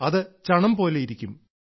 അത് ചണം പോലെ ഇരിക്കും